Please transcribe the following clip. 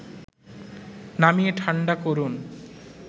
নামিয়ে ঠাণ্ডা করুন